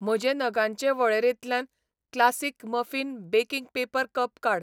म्हजे नगांचे वळेरेंतल्यान classic muffin baking paper cup काड.